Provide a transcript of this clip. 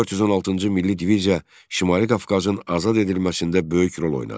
416-cı milli diviziya Şimali Qafqazın azad edilməsində böyük rol oynadı.